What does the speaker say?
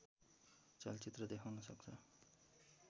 चलचित्र देखाउन सक्छ